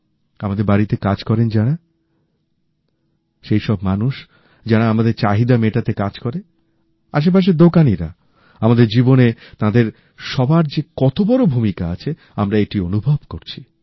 আমাদের বাড়িতে কাজ করেন যাঁরা সেই সব মানুষ যারা আমাদের চাহিদা মেটাতে কাজ করে আশেপাশের দোকানিরা আমাদের জীবনে তাদের সবার যে কত বড় ভূমিকা আছে আমরা এটি অনুভব করছি